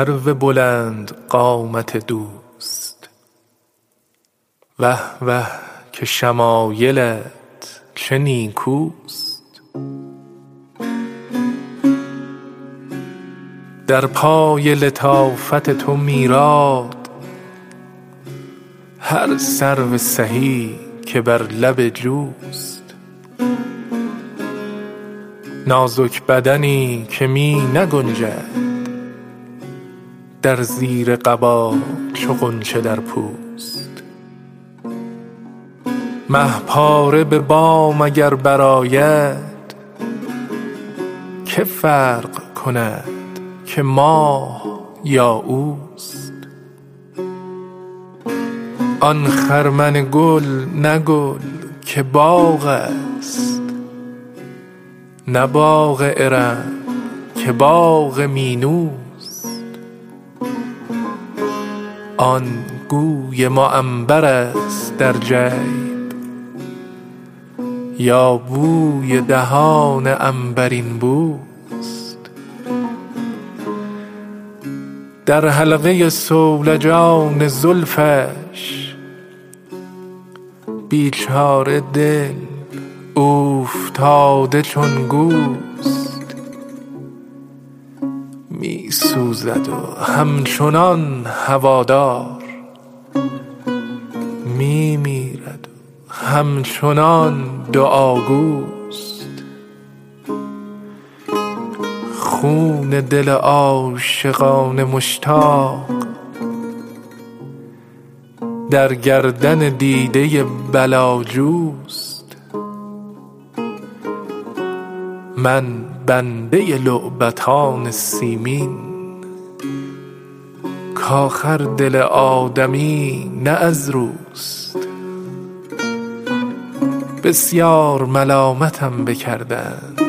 ای سرو بلند قامت دوست وه وه که شمایلت چه نیکوست در پای لطافت تو میراد هر سرو سهی که بر لب جوست نازک بدنی که می نگنجد در زیر قبا چو غنچه در پوست مه پاره به بام اگر برآید که فرق کند که ماه یا اوست آن خرمن گل نه گل که باغ است نه باغ ارم که باغ مینوست آن گوی معنبرست در جیب یا بوی دهان عنبرین بوست در حلقه صولجان زلفش بیچاره دل اوفتاده چون گوست می سوزد و همچنان هوادار می میرد و همچنان دعاگوست خون دل عاشقان مشتاق در گردن دیده بلاجوست من بنده لعبتان سیمین کآخر دل آدمی نه از روست بسیار ملامتم بکردند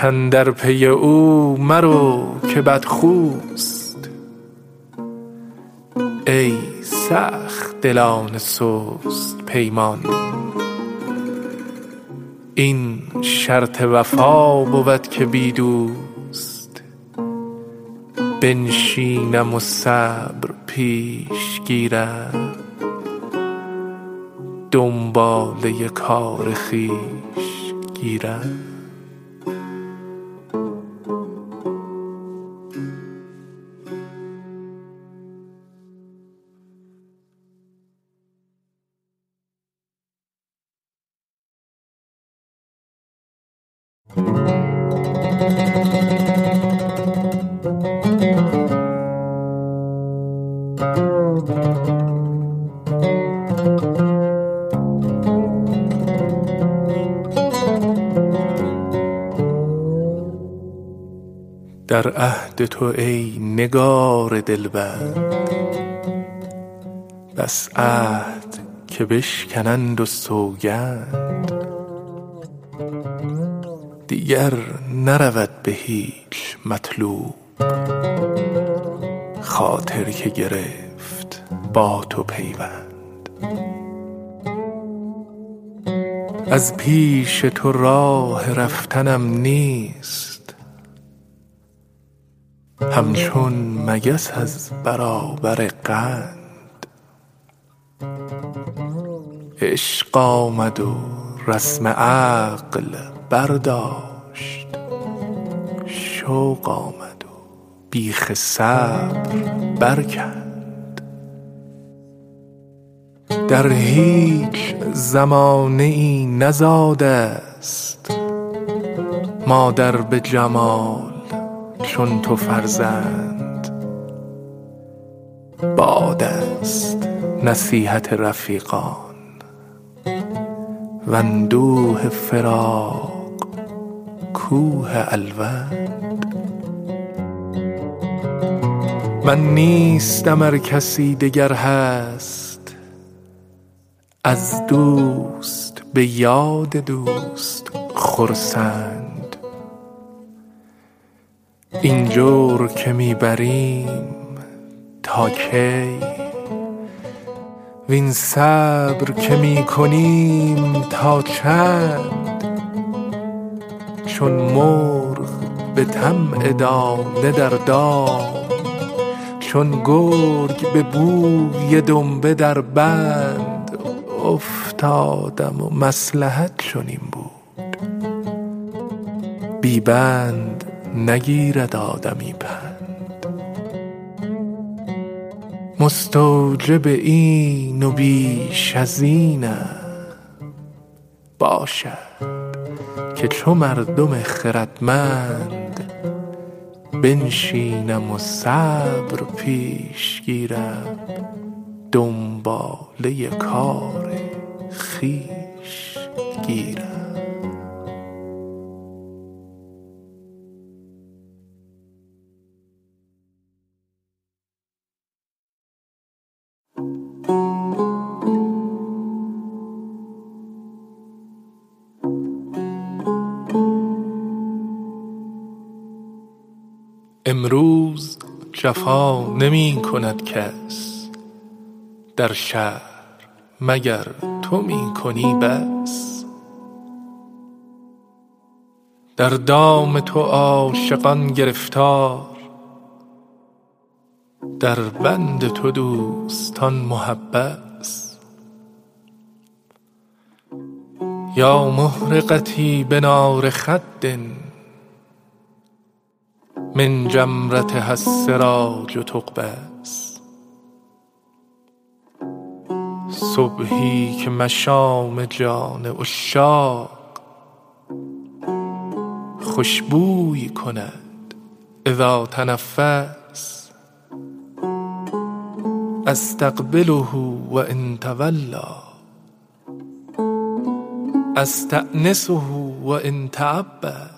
کاندر پی او مرو که بدخوست ای سخت دلان سست پیمان این شرط وفا بود که بی دوست بنشینم و صبر پیش گیرم دنباله کار خویش گیرم در عهد تو ای نگار دلبند بس عهد که بشکنند و سوگند دیگر نرود به هیچ مطلوب خاطر که گرفت با تو پیوند از پیش تو راه رفتنم نیست همچون مگس از برابر قند عشق آمد و رسم عقل برداشت شوق آمد و بیخ صبر برکند در هیچ زمانه ای نزاده ست مادر به جمال چون تو فرزند باد است نصیحت رفیقان واندوه فراق کوه الوند من نیستم ار کسی دگر هست از دوست به یاد دوست خرسند این جور که می بریم تا کی وین صبر که می کنیم تا چند چون مرغ به طمع دانه در دام چون گرگ به بوی دنبه در بند افتادم و مصلحت چنین بود بی بند نگیرد آدمی پند مستوجب این و بیش از اینم باشد که چو مردم خردمند بنشینم و صبر پیش گیرم دنباله کار خویش گیرم امروز جفا نمی کند کس در شهر مگر تو می کنی بس در دام تو عاشقان گرفتار در بند تو دوستان محبس یا محرقتي بنار خد من جمرتها السراج تقبس صبحی که مشام جان عشاق خوش بوی کند إذا تنفس أستقبله و إن تولیٰ أستأنسه و إن تعبس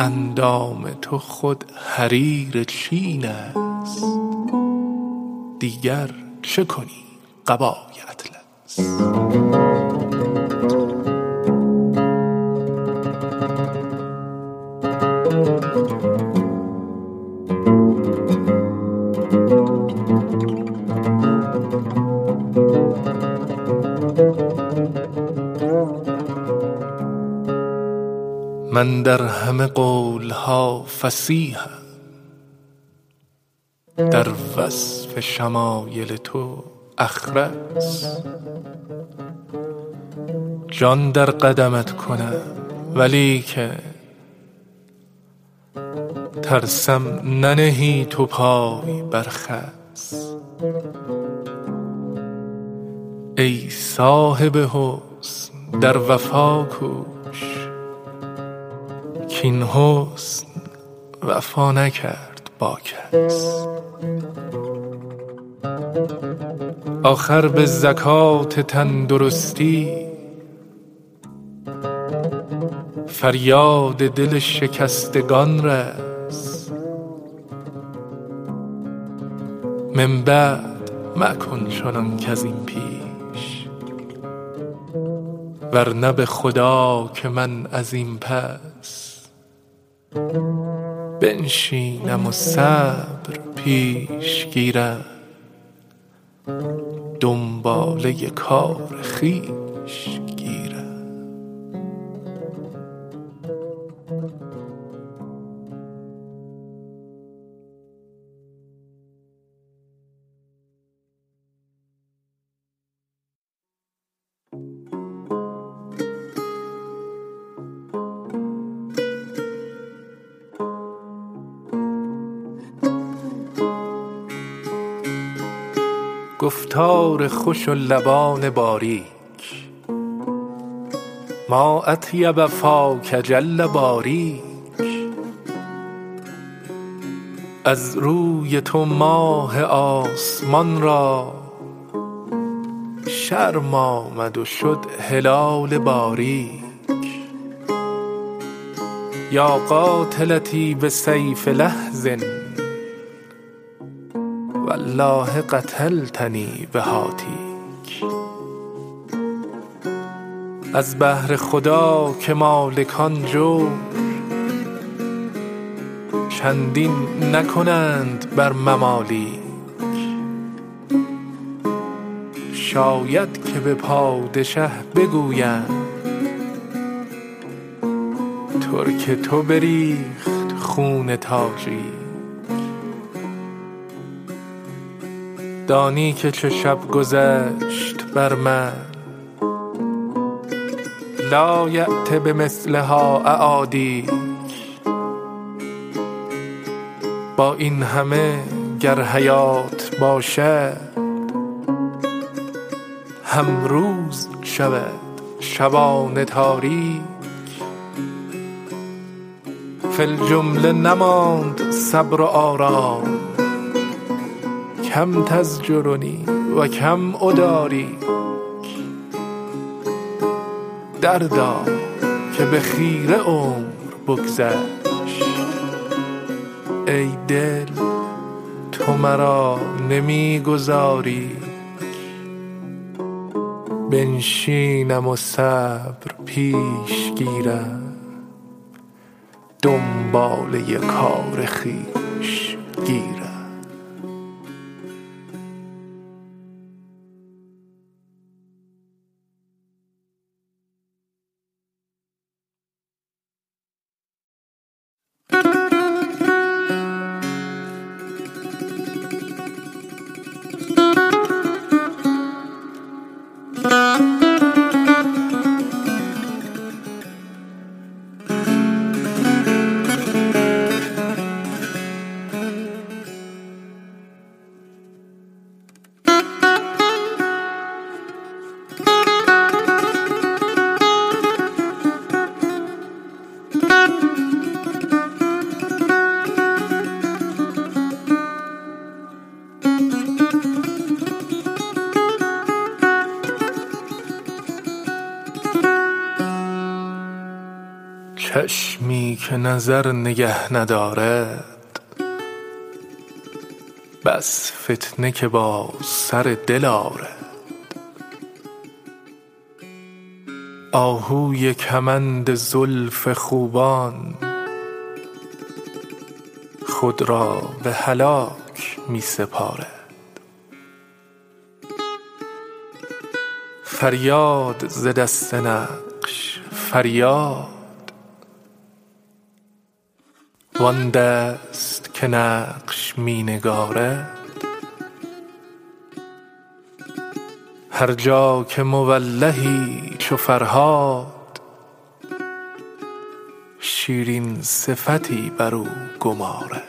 اندام تو خود حریر چین است دیگر چه کنی قبای اطلس من در همه قول ها فصیحم در وصف شمایل تو أخرس جان در قدمت کنم ولیکن ترسم ننهی تو پای بر خس ای صاحب حسن در وفا کوش کاین حسن وفا نکرد با کس آخر به زکات تندرستی فریاد دل شکستگان رس من بعد مکن چنان کز این پیش ورنه به خدا که من از این پس بنشینم و صبر پیش گیرم دنباله کار خویش گیرم گفتار خوش و لبان باریک ما أطیب فاک جل باریک از روی تو ماه آسمان را شرم آمد و شد هلال باریک یا قاتلتی بسیف لحظ والله قتلتنی بهاتیک از بهر خدا که مالکان جور چندین نکنند بر ممالیک شاید که به پادشه بگویند ترک تو بریخت خون تاجیک دانی که چه شب گذشت بر من لایأت بمثلها أعادیک با این همه گر حیات باشد هم روز شود شبان تاریک فی الجمله نماند صبر و آرام کم تزجرنی و کم أداریک دردا که به خیره عمر بگذشت ای دل تو مرا نمی گذاری ک بنشینم و صبر پیش گیرم دنباله کار خویش گیرم چشمی که نظر نگه ندارد بس فتنه که با سر دل آرد آهوی کمند زلف خوبان خود را به هلاک می سپارد فریاد ز دست نقش فریاد وآن دست که نقش می نگارد هر جا که مولهی چو فرهاد شیرین صفتی برو گمارد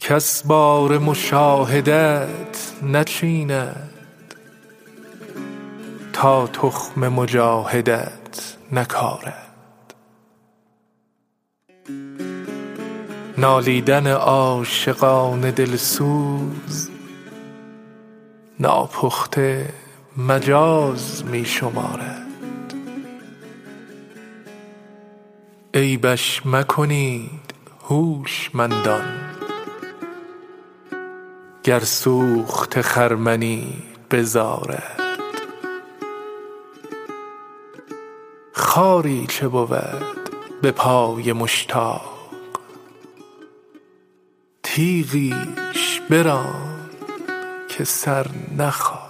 کس بار مشاهدت نچیند تا تخم مجاهدت نکارد نالیدن عاشقان دل سوز ناپخته مجاز می شمارد عیبش مکنید هوشمندان گر سوخته خرمنی بزارد خاری چه بود به پای مشتاق تیغیش بران که سر نخارد حاجت به در کسی ست ما را کاو حاجت کس نمی گزارد گویند برو ز پیش جورش من می روم او نمی گذارد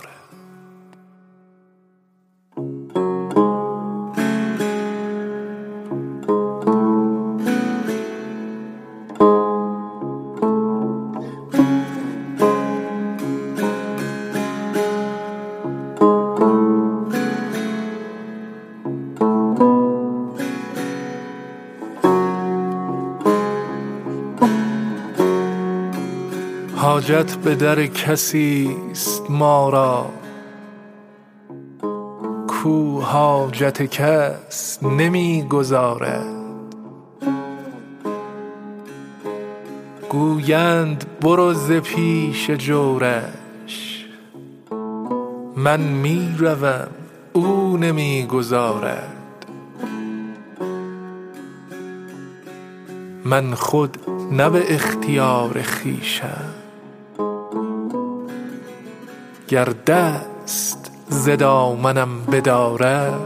من خود نه به اختیار خویشم گر دست ز دامنم بدارد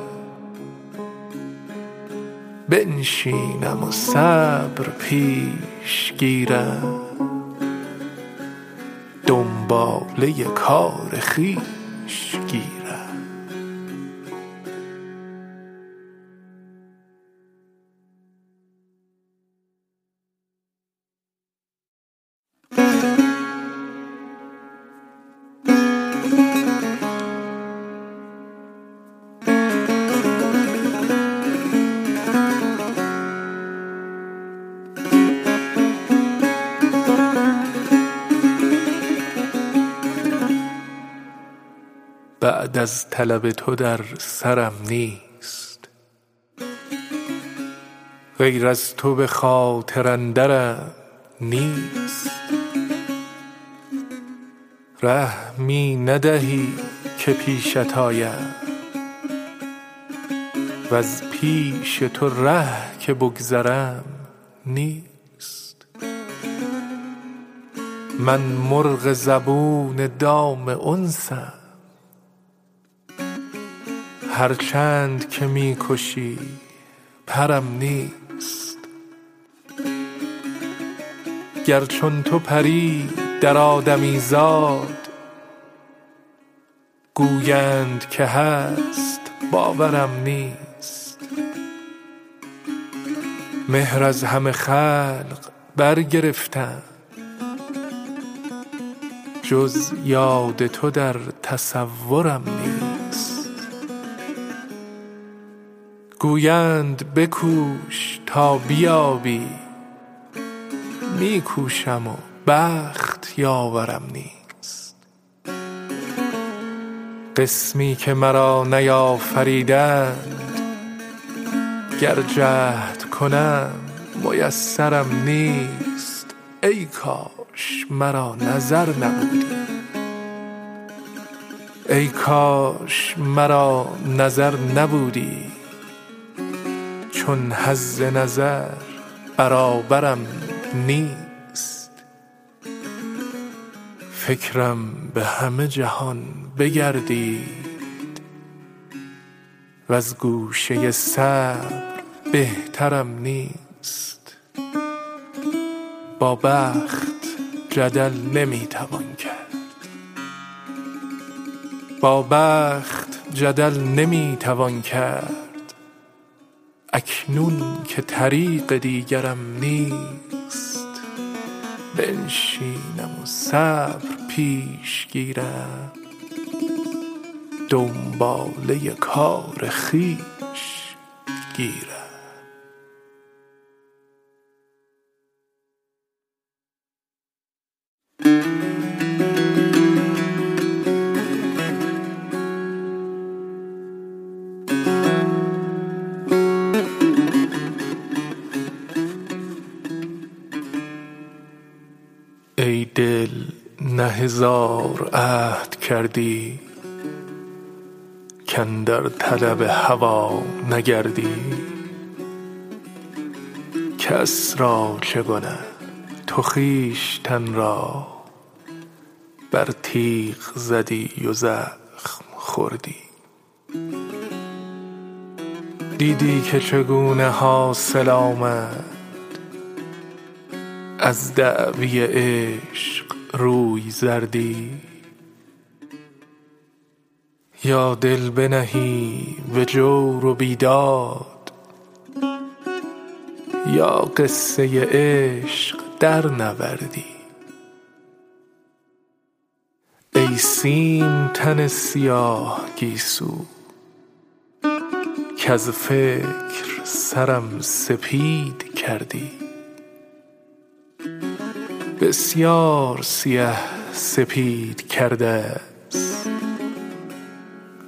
بنشینم و صبر پیش گیرم دنباله کار خویش گیرم بعد از طلب تو در سرم نیست غیر از تو به خاطر اندرم نیست ره می ندهی که پیشت آیم وز پیش تو ره که بگذرم نیست من مرغ زبون دام انسم هر چند که می کشی پرم نیست گر چون تو پری در آدمیزاد گویند که هست باورم نیست مهر از همه خلق برگرفتم جز یاد تو در تصورم نیست گویند بکوش تا بیابی می کوشم و بخت یاورم نیست قسمی که مرا نیافریدند گر جهد کنم میسرم نیست ای کاش مرا نظر نبودی چون حظ نظر برابرم نیست فکرم به همه جهان بگردید وز گوشه صبر بهترم نیست با بخت جدل نمی توان کرد اکنون که طریق دیگرم نیست بنشینم و صبر پیش گیرم دنباله کار خویش گیرم ای دل نه هزار عهد کردی کاندر طلب هوا نگردی کس را چه گنه تو خویشتن را بر تیغ زدی و زخم خوردی دیدی که چگونه حاصل آمد از دعوی عشق روی زردی یا دل بنهی به جور و بیداد یا قصه عشق درنوردی ای سیم تن سیاه گیسو کز فکر سرم سپید کردی بسیار سیه سپید کرده ست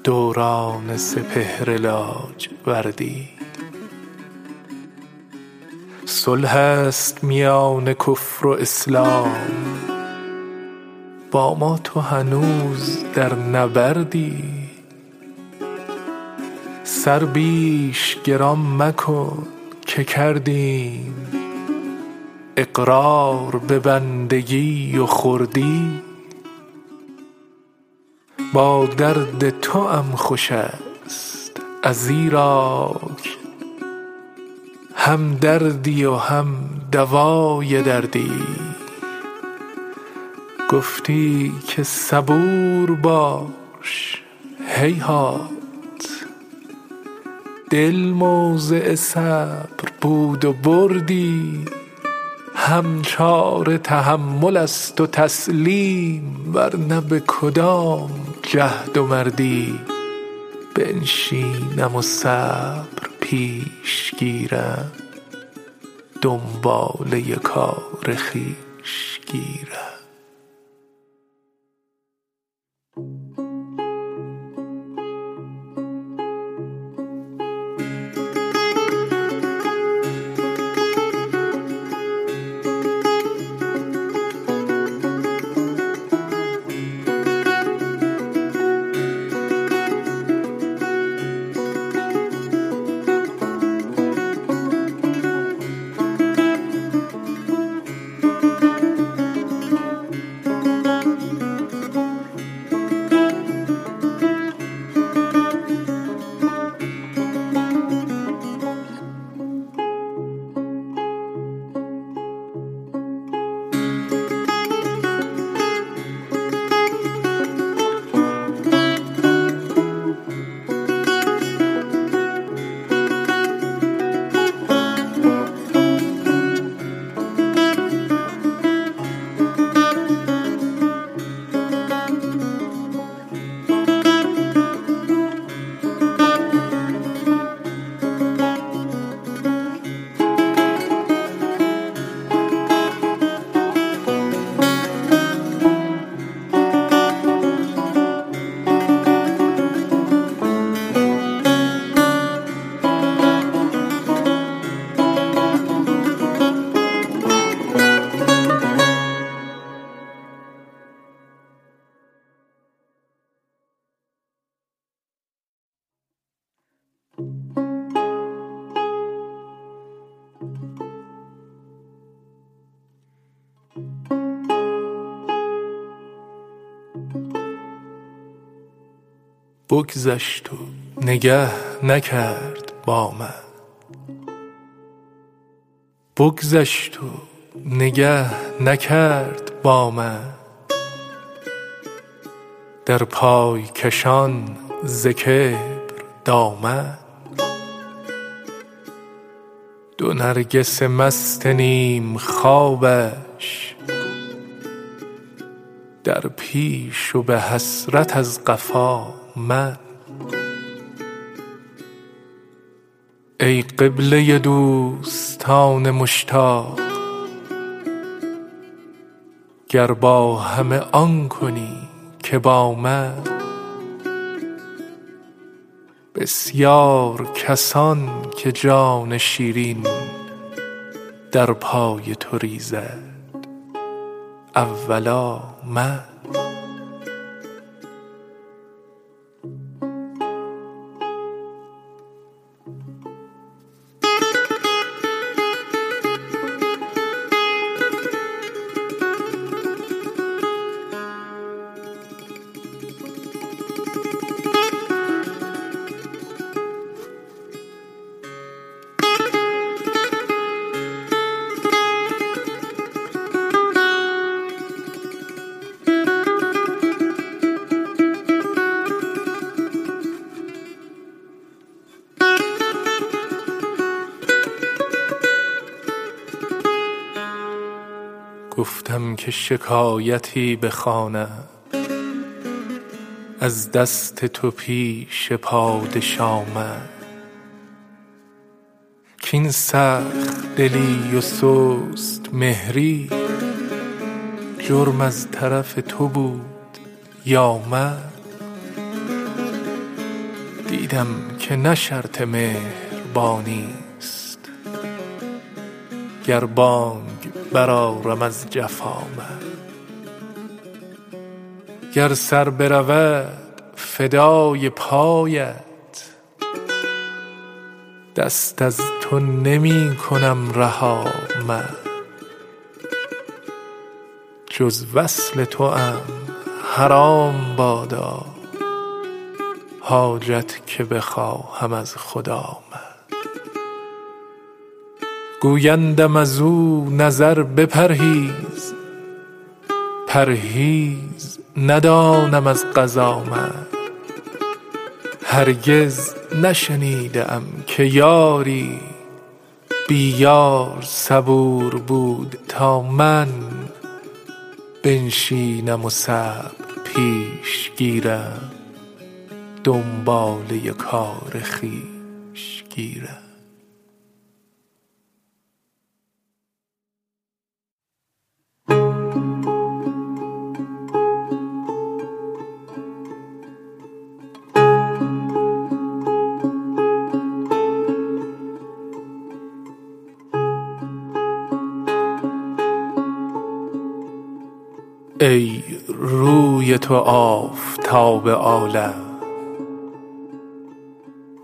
دوران سپهر لاجوردی صلح است میان کفر و اسلام با ما تو هنوز در نبردی سر بیش گران مکن که کردیم اقرار به بندگی و خردی با درد توام خوش ست ازیراک هم دردی و هم دوای دردی گفتی که صبور باش هیهات دل موضع صبر بود و بردی هم چاره تحمل است و تسلیم ورنه به کدام جهد و مردی بنشینم و صبر پیش گیرم دنباله کار خویش گیرم بگذشت و نگه نکرد با من در پای کشان ز کبر دامن دو نرگس مست نیم خوابش در پیش و به حسرت از قفا من ای قبله دوستان مشتاق گر با همه آن کنی که با من بسیار کسان که جان شیرین در پای تو ریزد اولا من گفتم که شکایتی بخوانم از دست تو پیش پادشا من کاین سخت دلی و سست مهری جرم از طرف تو بود یا من دیدم که نه شرط مهربانی ست گر بانگ برآرم از جفا من گر سر برود فدای پایت دست از تو نمی کنم رها من جز وصل توام حرام بادا حاجت که بخواهم از خدا من گویندم ازو نظر بپرهیز پرهیز ندانم از قضا من هرگز نشنیده ای که یاری بی یار صبور بود تا من بنشینم و صبر پیش گیرم دنباله کار خویش گیرم ای روی تو آفتاب عالم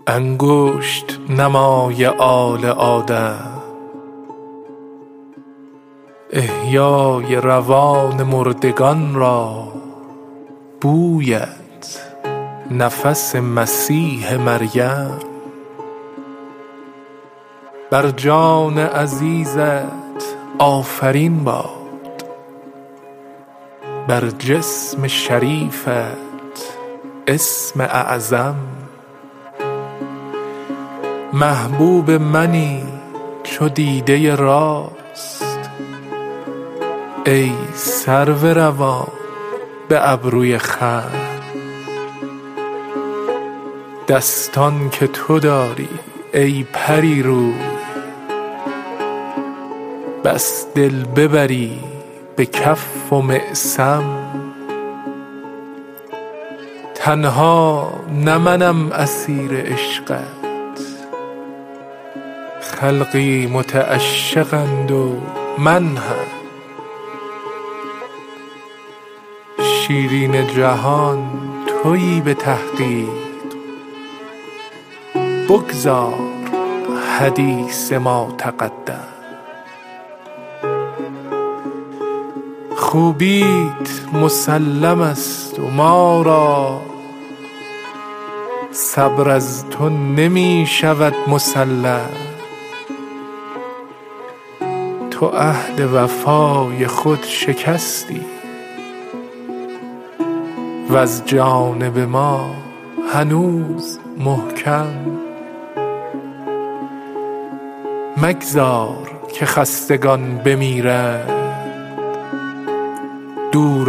انگشت نمای آل آدم احیای روان مردگان را بویت نفس مسیح مریم بر جان عزیزت آفرین باد بر جسم شریفت اسم اعظم محبوب منی چو دیده راست ای سرو روان به ابروی خم دستان که تو داری ای پری روی بس دل ببری به کف و معصم تنها نه منم اسیر عشقت خلقی متعشقند و من هم شیرین جهان تویی به تحقیق بگذار حدیث ما تقدم خوبیت مسلم ست و ما را صبر از تو نمی شود مسلم تو عهد وفای خود شکستی وز جانب ما هنوز محکم مگذار که خستگان بمیرند دور